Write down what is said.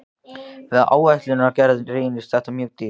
Við áætlunargerð reynist það mjög dýrt.